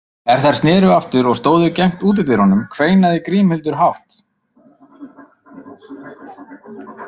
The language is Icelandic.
Er þær sneru aftur og stóðu gegnt útidyrunum, kveinaði Grímhildur hátt.